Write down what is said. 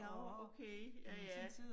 Nåh okay. Ja ja